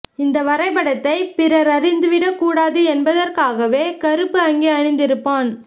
இந்த வரைபடத்தைப் பிறர் அறிந்துவிடக் கூடாது என்பதற்காகவே கறுப்பு அங்கி அணிந்திருப்பான்